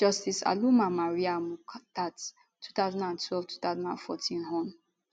justice aloma mariam mukhtar 20122014 hon